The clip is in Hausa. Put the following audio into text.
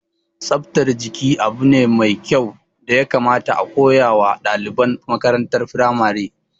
Tsaftar jiki abu ne mai kyau da ya kamata a koya wa ɗaliban makarantar firamare